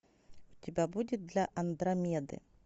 у тебя будет для андромеды